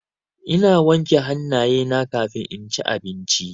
Ina wanke hannayena kafin inci abinci.